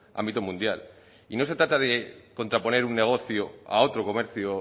ámbito mundial y no se trata de contraponer un negocio a otro comercio